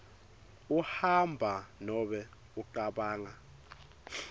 uhamba nobe ucabanga